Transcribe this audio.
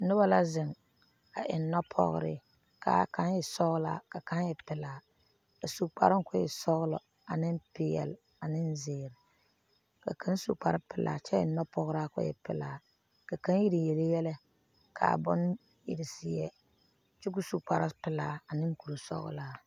Nobɔ la zeŋ a eŋ nɔpɔgre kaa kaŋ e sɔglaa ka kaŋ e pelaa a su kparoŋ ko e sɔglɔ ane peɛle ane zeere ka kaŋ su kparepelaa kyɛ eŋ nɔpɔgraa ko e pelaa ka kaŋ ire yele yɛlɛ kaa bon ire seɛ kyɛ ko so kparepelaa ane kurisɔglaa.